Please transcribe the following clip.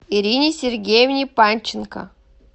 ирине сергеевне панченко